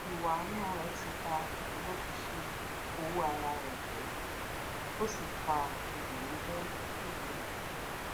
ìwà àánú rẹ ti ba ìdúróṣinṣin owó ara rẹ jẹ ó sì fa ìbànújẹ jíjinlẹ